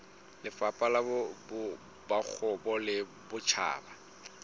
lefapha la bokgabo le botjhaba